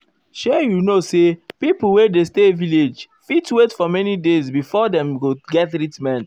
shey you know say pipo wey dey stay village fit wait for many days before before dem go get treatment.